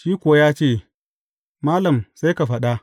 Shi kuwa ya ce, Malam sai ka faɗa.